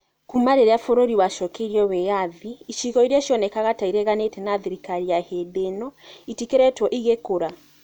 Kuuma rĩrĩa bũrũri wacokeirio wĩyathi, icigo iria cionekaga ta ireganĩte na thirikari ya hĩndĩ ĩno itikoretwo igĩkũra.